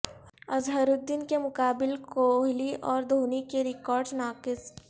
اظہرالدین کے مقابل کوہلی اور دھونی کے ریکارڈز ناقص